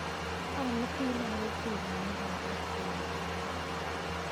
amuti lakokyuk konyokaat gogo nengwai